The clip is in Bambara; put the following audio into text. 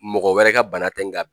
Mɔgɔ wɛrɛ ka bana tɛ nga